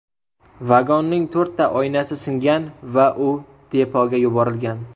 Vagonning to‘rtta oynasi singan va u depoga yuborilgan.